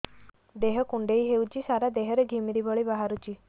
ଦେହ କୁଣ୍ଡେଇ ହେଉଛି ସାରା ଦେହ ରେ ଘିମିରି ଭଳି ବାହାରୁଛି